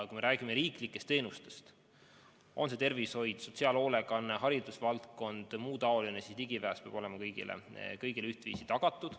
Kui me räägime riiklikest teenustest – on see tervishoid, sotsiaalhoolekanne, haridusvaldkond, muu taoline –, siis ligipääs peab olema kõigile ühtviisi tagatud.